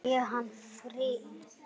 Sé hann fyrst núna.